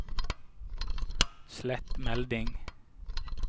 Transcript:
slett melding